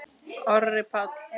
Orri Páll.